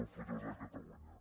el futur de catalunya